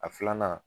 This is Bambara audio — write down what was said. A filanan